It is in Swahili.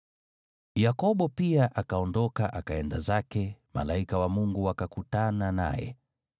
Yakobo pia akaondoka akaenda zake, nao malaika wa Mungu wakakutana naye.